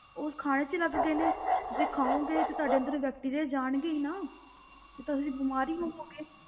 ਉਸ ਖਾਣੇ ਵਿੱਚ ਲੱਗ ਗਏ ਨੇ, ਤੁਸੀਂ ਖਾਓਂਗੇ ਤੇ ਤੁਹਾਡੇ ਅੰਦਰ bacteria ਜਾਣਗੇ ਹੀ ਨਾ, ਫਿਰ ਤਾਂ ਤੁਸੀਂ ਬਿਮਾਰ ਹੀ ਹੋਵੋਂਗੇ।